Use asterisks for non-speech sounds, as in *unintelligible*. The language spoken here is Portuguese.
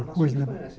Coisa Mas *unintelligible* se conhece.